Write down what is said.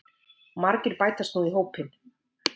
Margir bætast nú í hópinn